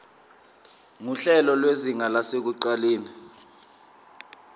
nguhlelo lwezinga lasekuqaleni